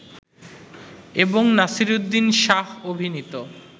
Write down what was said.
এবং নাসিরুদ্দিন শাহ অভিনীত